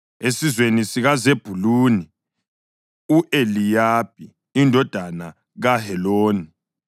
esizweni sikaZebhuluni, u-Eliyabi indodana kaHeloni;